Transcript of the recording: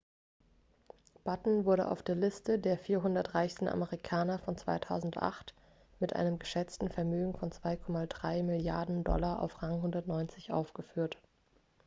batten wurde auf der liste der 400 reichsten amerikaner von 2008 mit einem geschätzten vermögen von 2,3 milliarden dollar auf rang 190 geführt